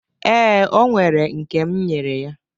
Ee, o nwere nke m nyere ya.